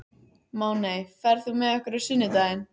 Máney, ferð þú með okkur á sunnudaginn?